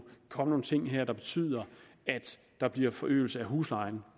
komme nogen ting her der betyder at der bliver forøgelse af huslejen